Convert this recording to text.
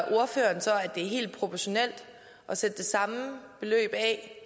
det er helt proportionelt at sætte det samme beløb af